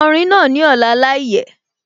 Ko orin náà ní ọ̀la láìyẹ̀